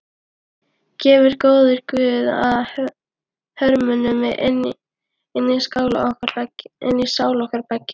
Gefi góður guð að hörmungunum linni í sál okkar beggja.